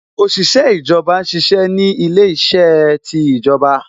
Òṣìṣẹ́ ìjọba ṣiṣẹ́ ni ilé iṣẹ́ ti ìjọba